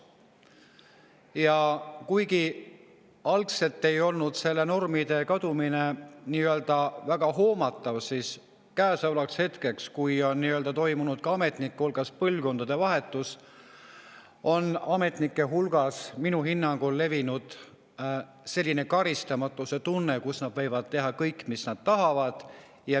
Ja kuigi algselt ei olnud nende normide kadumine väga hoomatav, siis käesolevaks hetkeks, kui on toimunud ametnike hulgas põlvkondade vahetus, on ametnike seas minu hinnangul levinud selline karistamatuse tunne, et nad võivad teha kõike, mis nad tahavad.